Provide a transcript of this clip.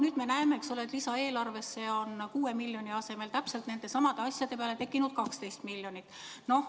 Nüüd me näeme, et lisaeelarvesse on 6 miljoni asemel täpselt nendesamade asjade peale tekkinud 12 miljonit eurot.